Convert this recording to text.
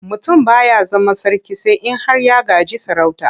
Mutum ba ya zama sarki sai in har ya gaji sarauta.